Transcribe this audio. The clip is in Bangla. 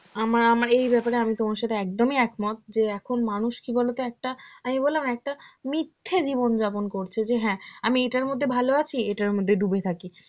আমার~ আমার এই ব্যাপারে আমি তোমার সাথে একদমই একমত, যে এখন মানুষ কি বলতো একটা, আমি বললাম না একটা মিথ্যে জীবনযাপন করছে, যে হ্যাঁ আমি এটার মধ্যে ভালো আছি, এটার মধ্যে ডুবে থাকি.